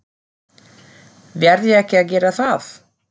Verð ég ekki að gera það?